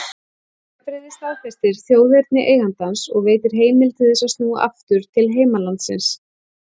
Vegabréfið staðfestir þjóðerni eigandans og veitir heimild til þess að snúa aftur til heimalandsins.